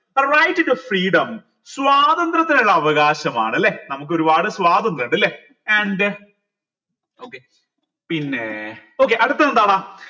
right to freedom സ്വാതന്ത്ര്യത്തിനുള്ള അവകാശമാണല്ലേ നമുക്ക് ഒരുപാട് സ്വാതന്ത്ര്യം ഇണ്ടല്ലേ and okay പിന്നെ okay അടുത്തതെന്താണ്